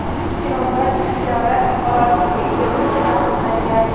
Eronda ikki davlat fuqaroligiga ega bo‘lish taqiqlangan.